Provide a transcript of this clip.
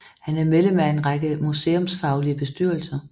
Han er medlem af en række museumsfaglige bestyrelser